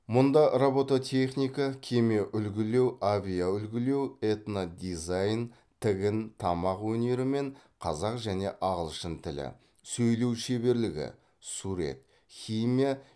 мұнда робототехника кеме үлгілеу авиа үлгілеу этнодизайн тігін тамақ өнері мен қазақ және ағылшын тілі сөйлеу шеберлігі сурет химия